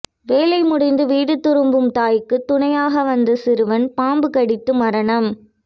வேலை முடிந்து வீடு திரும்பும் தாய்க்கு துணையாக வந்த சிறுவன் பாம்பு கடித்து மரணம்